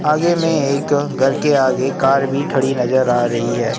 आगे में एक घर के आगे कार भी खड़ी नजर आ रही है।